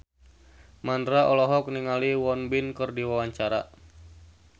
Mandra olohok ningali Won Bin keur diwawancara